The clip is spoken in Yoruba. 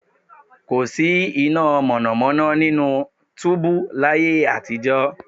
Kò síná mọ̀nàmọ́ná nínú túúbú láyé àtijọ́